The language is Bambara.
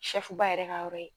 Sɛfuba yɛrɛ ka yɔrɔ ye